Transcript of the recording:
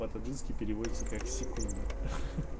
по таджикски переводится как секунда ха-ха